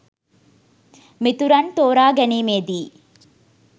මිතුරන් තෝරා ගැනීමේදී